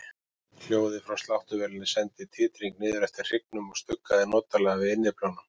Hljóðið frá sláttuvélinni sendi titring niður eftir hryggnum og stuggaði notalega við innyflunum.